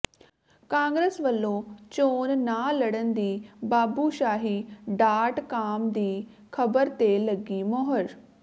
ਕਾਂਗਰਸ ਵਲੋਂ ਚੋਣ ਨਾ ਲੜਨ ਦੀ ਬਾਬੂਸ਼ਾਹੀ ਡਾਟ ਕਾਮ ਦੀ ਖਬਰ ਤੇ ਲੱਗੀ ਮੋਹਰ